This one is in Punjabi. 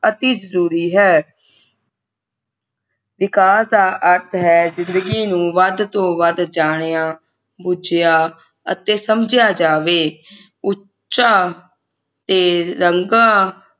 ਅਤਿ ਜਰੂਰੀ ਹੈ ਵਿਕਾਸ ਦਾ ਅਰਥ ਹੈ ਜਿੰਦਗੀ ਨੂੰ ਵੱਧ ਤੋਂ ਵੱਧ ਜਾਣਿਆ ਬੁਝਿਆ ਅਤੇ ਸਮਝਿਆ ਜਾਵੇ ਉੱਚਾ ਤੇ ਰੰਗਾ